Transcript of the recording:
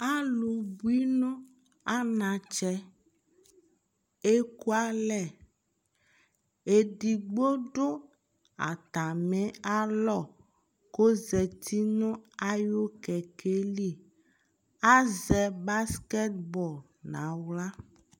alò bui no anatsɛ eku alɛ edigbo do atami alɔ k'ozati no ayi kɛkɛ li azɛ baskɛt bɔl n'ala